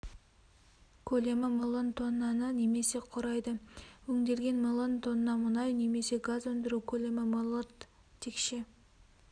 көлемі миллион тоннаны немесе құрады өңделген миллион тонна мұнай немесе газ өндіру көлемі миллиард текше